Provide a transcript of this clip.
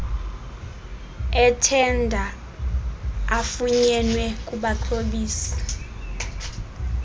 ethenda afunyenwe kubaxhobisi